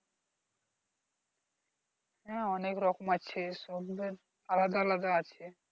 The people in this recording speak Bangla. হ্যাঁ অনেক রকম আছে সব এবার আলাদা আলাদা আছে